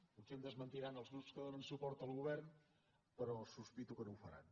potser em desmentiran els grups que donen suport al govern però sospito que no ho faran